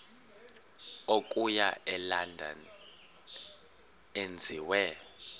okuya elondon enziwe